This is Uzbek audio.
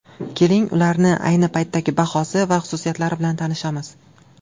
Keling, ularning ayni paytdagi bahosi va xususiyatlari bilan tanishamiz.